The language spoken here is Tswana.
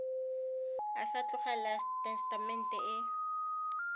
a sa tlogela tesetamente e